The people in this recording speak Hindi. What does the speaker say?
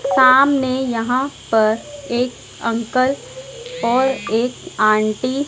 सामने यहां पर एक अंकल और एक आंटी --